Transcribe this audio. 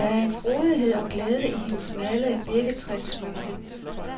Der er en frodighed og glæde i hendes malede birketræssmykker.